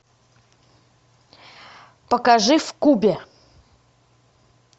покажи в кубе